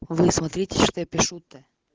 вы смотрите пишут